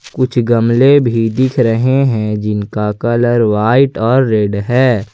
कुछ गमले भी दिख रहे हैं जिनका कलर व्हाइट और रेड है।